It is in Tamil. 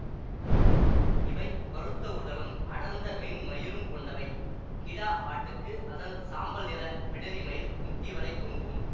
இவை பருத்த உடலும் அடர்ந்த மென் மயிரும் கொண்டவை கிடா ஆட்டுக்கு அதன் சாம்பல் நிற பிடரிமயிர் முட்டிவரை தொங்கும்